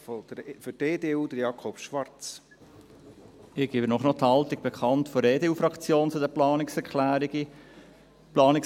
Ich gebe Ihnen noch die Haltung der EDU-Fraktion zu den Planungserklärungen bekannt.